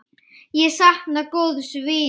Ég sakna góðs vinar.